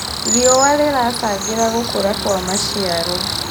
Rĩũa rĩracangĩra gũkũra kwa macĩaro